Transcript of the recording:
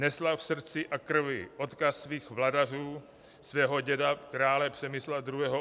Nesla v srdci a krvi odkaz svých vladařů, svého děda krále Přemysla II.